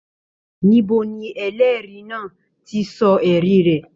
Níbo ní ẹlẹri náà tí sọ ẹrí rẹ?